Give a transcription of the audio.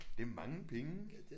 Det er mange penge